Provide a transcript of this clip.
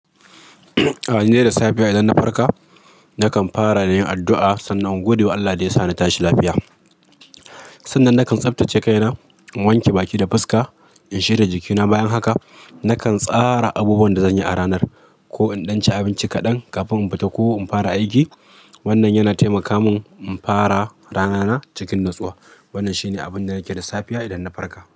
Ah, ni dai da safiya idan na farka, nakan fara da yin addu'a sannan in gode wa Allah da ya sa na tashi lafiya. Sannan nakan tsaftace kaina, in wanke baki da fuska, in shira jikina. Bayan haka, nakan tsara abubuwan da zan yi a ranar ko in ɗan ci abinci kaɗan kafin in fita ko in fara aiki. Wannan yana taimaka mun in fara ranana cikin natsuwa. Wannan shi ne abin da nake da safiya idan na farka.